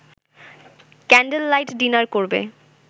candlelight dinner করবে